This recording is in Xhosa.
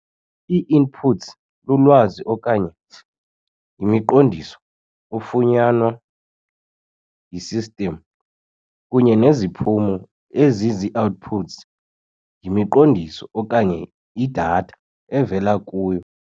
Ii-inputs lulwazi okanye yimiqondiso ofunyanwa yi-system, kunye neziphumo ezizii-outputs yimiqondiso okanye i-data evela kuyo.